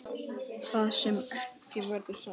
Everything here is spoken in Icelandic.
Það sem ekki verður sagt